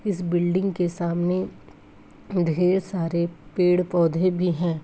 इस बिल्डिंग के सामने ढेर सारे पेड़-पौधे भी हैं ।